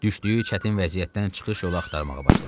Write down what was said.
Düşdüyü çətin vəziyyətdən çıxış yolu axtarmağa başladı.